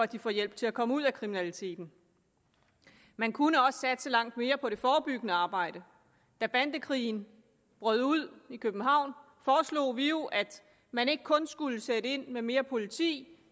de få hjælp til at komme ud af kriminaliteten man kunne også satse langt mere på det forebyggende arbejde da bandekrigen brød ud i københavn foreslog vi jo at man ikke kun skulle sætte ind med mere politi